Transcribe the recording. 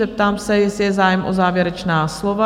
Zeptám se, jestli je zájem o závěrečná slova?